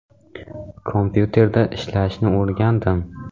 Kompyuterda ishlashni o‘rgandim.